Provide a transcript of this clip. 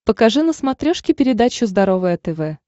покажи на смотрешке передачу здоровое тв